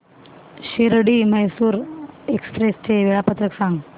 Shirdi Mysore express चे वेळापत्रक सांग